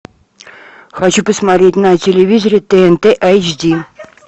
хочу посмотреть на телевизоре тнт эйч ди